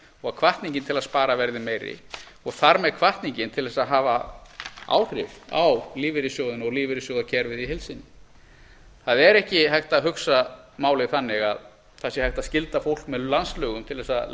og hvatningin til að spara verði meiri og þar með hvatningin til þess að hafa áhrif á lífeyrissjóðina og lífeyrissjóðakerfið í heild sinni það er ekki hægt að hugsa málið þannig að það sé hægt að skylda fólk með landslögum til þess að